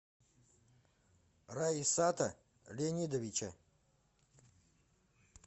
раисата леонидовича